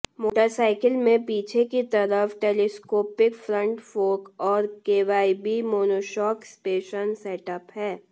motorcycle में पीछे की तरफ टेलिस्कोपिक फ्रंट फोर्क और केवायबी मोनोशॉक सस्पेंशन सेटअप है